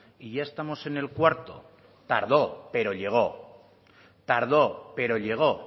y ya estamos en el cuarto tardó pero llegó tardó pero llegó